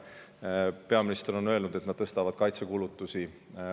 Briti peaminister on öelnud, et nad tõstavad kaitsekulutusi.